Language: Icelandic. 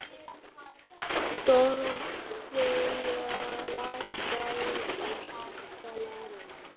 Dorothea, lækkaðu í hátalaranum.